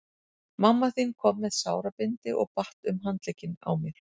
Mamma þín kom með sárabindi og batt um handlegginn á mér.